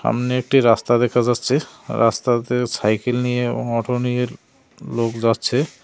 সামনে একটি রাস্তা দেখা যাচ্ছে আর রাস্তাতে সাইকেল নিয়ে এবং অটো নিয়ে লোক যাচ্ছে।